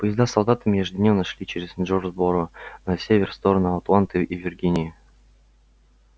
поезда с солдатами ежедневно шли через джонсборо на север в сторону атланты и виргинии